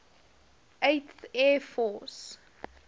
eighth air force